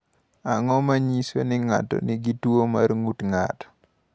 Ang’o ma nyiso ni ng’ato nigi tuwo mar ng’ut ng’ato?